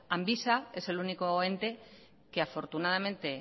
ambisa es el único ente que afortunadamente